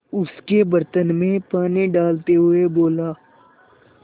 उसके बर्तन में पानी डालते हुए बोला